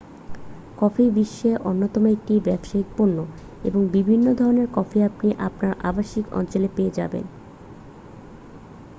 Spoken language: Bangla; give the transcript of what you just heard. কফি বিশ্বের অন্যতম একটি ব্যবসায়িক পণ্য এবং বিভিন্ন ধরণের কফি আপনি আপনার আবাসিক অঞ্চলে পেয়ে যাবেন